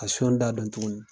Ka daa dɔn tuguni